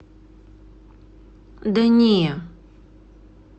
да не